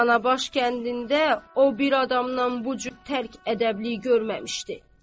Danabaş kəndində o bir adamdan bu cür tərk ədəblik görməmişdi.